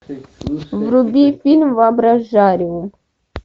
вруби фильм воображариум